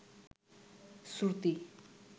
শ্রুতি